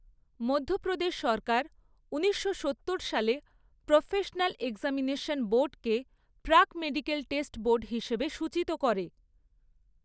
মধ্যপ্রদেশ সরকার ঊনিশশো সত্তর সালে, প্রফেশনাল এক্সামিনেশন বোর্ডকে প্রাক মেডিকেল টেস্ট বোর্ড হিসেবে সূচিত করে।